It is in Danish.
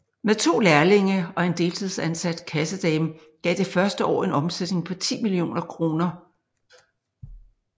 Med 2 lærlinge og en deltidsansat kassedame gav det første år en omsætning på 10 mio kr